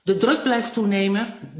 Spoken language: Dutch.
De druk blijft toenemen.